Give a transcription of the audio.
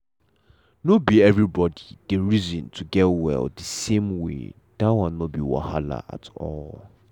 nor be everybody dey reason to get well the same way that one nor be wahala at all.